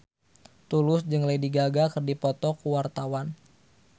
Tulus jeung Lady Gaga keur dipoto ku wartawan